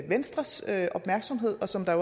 venstres opmærksomhed og som der